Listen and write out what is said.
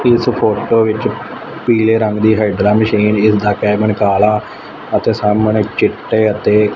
ਇਸ ਫੋਟੋ ਵਿੱਚ ਪੀਲੇ ਰੰਗ ਦੀ ਹਾਈਡਰਾ ਮਸ਼ੀਨ ਜਿਸਦਾ ਕੈਬਿਨ ਕਾਲਾ ਅਤੇ ਸਾਹਮਣੇ ਚਿੱਟੇ ਅਤੇ--